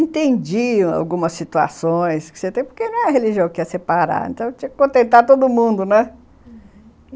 Entendiam algumas situações, porque não é religião que ia separar, então tinha que contentar todo mundo, né, uhum...